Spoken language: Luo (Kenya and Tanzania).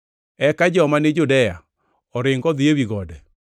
eka joma ni Judea oring odhi ewi gode.